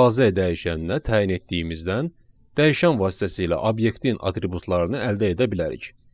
azə dəyişəninə təyin etdiyimizdən dəyişən vasitəsilə obyektin atributlarını əldə edə bilərik.